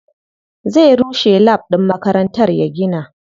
Zai rushe lab ɗin makarantar ya gina wani.